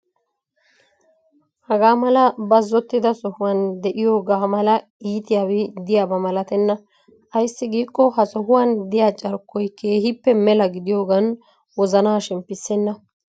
Hagaa mala bazzottida sohuwaan de'iyoogaa mala iitiyaabi diyaaba malatenna. Ayissi giikko ha sohuwaan diya carkkoyi keehippe mela gidiyoogan wozanaa shemppissenna.